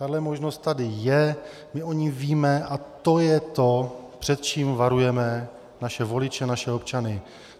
Tahle možnost tady je, my o ní víme, a to je to, před čím varujeme naše voliče, naše občany.